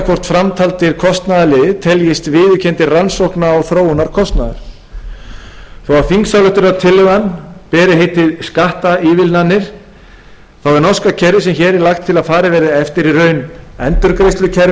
hvort framtaldir kostnaðarliðir teljist viðurkenndur rannsókna og þróunarkostnaður þó að þingsályktunartillagan beri heitið skattaívilnanir er norska kerfið sem hér er lagt til að farið verði eftir í raun